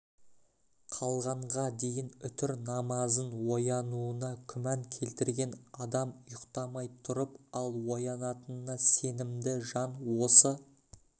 қалғанға дейін үтір намазын оянуына күмән келтірген адам ұйықтамай тұрып ал оянатынына сенімді жан осы